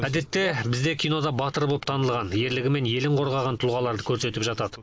әдетте бізде кинода батыр болып танылған ерлігімен елін қорғаған тұлғаларды көрсетіп жатады